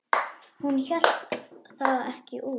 Hún hélt það ekki út!